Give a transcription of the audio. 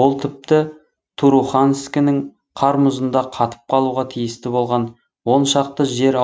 ол тіпті туруханскінің қар мұзында қатып қалуға тиісті болған он шақты жер